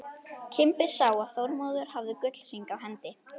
Kimbi sá að Þormóður hafði gullhring á hendi.